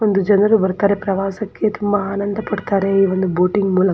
ಒಂದು ಜನರು ಬರ್ತಾರೆ ಪ್ರವಾಸಕ್ಕೆ ತುಂಬಾ ಆನಂದ ಪಡ್ತಾರೆ ಈ ಒಂದು ಬೋಟಿಂಗ್ ಮೂಲಕ.